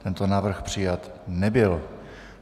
Tento návrh přijat nebyl.